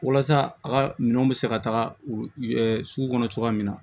Walasa a ka minɛn bɛ se ka taga sugu kɔnɔ cogoya min na